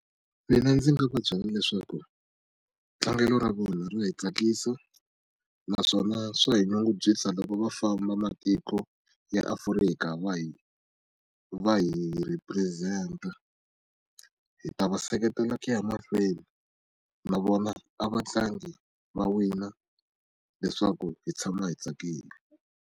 Mina ndzi nga va byela leswaku tlangelo ra vona ra hi tsakisa naswona swa hi nyungubyisa loko va famba matiko ya Afrika va hi va hi rhipurizenta hi ta va seketela ku ya mahlweni na vona a vatlangi va wina leswaku hi tshama hi tsakile.